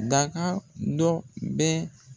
Daga dɔ bɛ